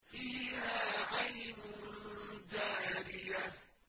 فِيهَا عَيْنٌ جَارِيَةٌ